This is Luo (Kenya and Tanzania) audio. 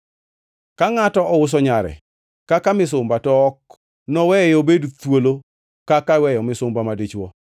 “Ka ngʼato ouso nyare kaka misumba, to ok noweye obed thuolo kaka iweyo misumba madichwo.